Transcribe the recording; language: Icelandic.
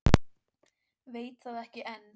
Veit það ekki enn.